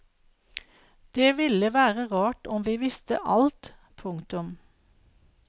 Det ville være rart om vi visste alt. punktum